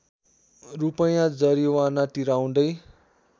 रूपैयाँ जरिवाना तिराउँदै